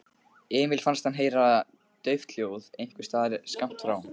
Emil fannst hann heyra dauft hljóð einhversstaðar skammt frá.